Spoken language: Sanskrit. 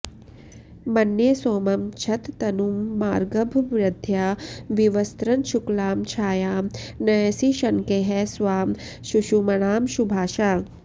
मन्ये सोमं क्षततनुममागर्भवृद्ध्या विवस्त्रन् शुक्लां छायां नयसि शनकैः स्वां सुषुम्णांशुभासा